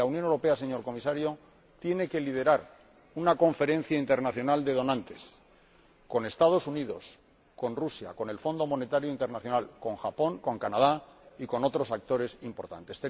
La Unión Europea, señor Comisario, tiene que liderar una conferencia internacional de donantes, con los Estados Unidos, con Rusia, con el Fondo Monetario Internacional, con Japón, con Canadá y con otros actores importantes.